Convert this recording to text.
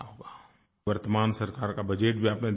वर्तमान सरकार का बजट भी आपने देखा होगा